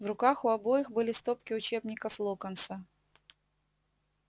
в руках у обоих были стопки учебников локонса